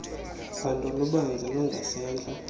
phando lubanzi lungasentla